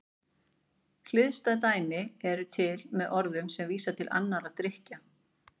Hliðstæð dæmi eru til með orðum sem vísa til annarra drykkja.